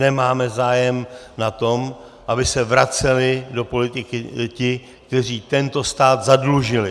Nemáme zájem na tom, aby se vraceli do politiky ti, kteří tento stát zadlužili.